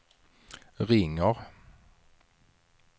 ringer